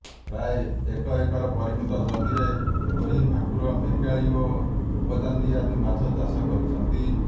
ପ୍ରାୟ ଏକ ଏକର ପରିମିତ ଜମିରେ ରୋହି ଭାକୁର ମିରିକାଳି ଓ ରୂପଚାନ୍ଦି ଆଦି ମାଛ ଚାଷ କରିଛନ୍ତି